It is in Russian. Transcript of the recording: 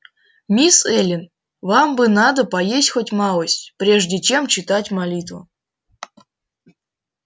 мисс эллин вам бы надо поесть хоть малость прежде чем читать молитву